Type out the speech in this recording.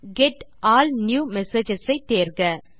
get all new messages ஐ தேர்க